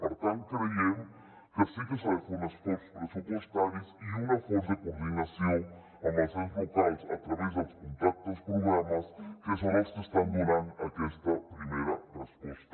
per tant creiem que sí que s’ha de fer un esforç pressupostari i un esforç de coordinació amb els ens locals a través dels contractes programes que són els que estan donant aquesta primera resposta